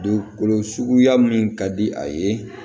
Dugukolo suguya min ka di a ye